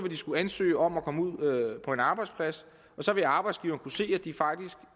skulle ansøge om at komme ud på en arbejdsplads og så vil arbejdsgiveren kunne se at de faktisk